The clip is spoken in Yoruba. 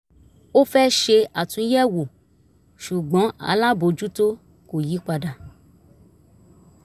ó fẹ́ ṣe àtúnyẹ̀wò ṣùgbọ́n alábòjútó ko yí padà